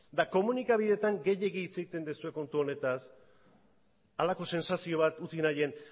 komunikabideetan gehiegi hitz egiten duzue kontu honetaz halako sentsazio bat utzi nahian